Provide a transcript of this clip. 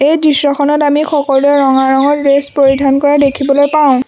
এই দৃশ্যখনত আমি সকলোৱে ৰঙা ৰঙৰ ড্ৰেছ পৰিধান কৰা দেখিবলৈ পাওঁ।